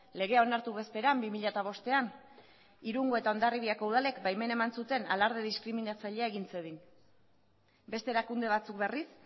legea onartu bezperan bi mila bostean irungo eta hondarribiako udalek baimena eman zuten alarde diskriminatzailea egin zedin beste erakunde batzuk berriz